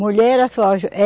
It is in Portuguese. Mulher era só.